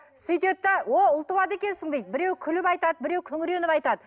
сөйтеді де о ұл туады екенсің дейді біреу күліп айтады біреу күңіреніп айтады